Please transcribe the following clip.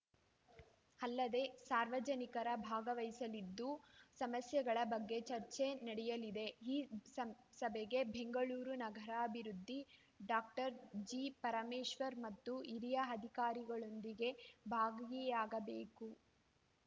ಅಲ್ಲದೆ ಸಾರ್ವಜನಿಕರ ಭಾಗವಹಿಸಲಿದ್ದು ಸಮಸ್ಯೆಗಳ ಬಗ್ಗೆ ಚರ್ಚೆ ನಡೆಯಲಿದೆ ಈ ಸ ಸಭೆಗೆ ಬೆಂಗಳೂರು ನಗರಾಭಿವೃದ್ಧಿ ಡಾಕ್ಟರ್ ಜಿಪರಮೇಶ್ವರ್‌ ಮತ್ತು ಹಿರಿಯ ಅಧಿಕಾರಿಗಳೊಂದಿಗೆ ಭಾಗವಿಯಾಗಬೇಕು